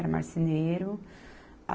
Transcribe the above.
Era marceneiro.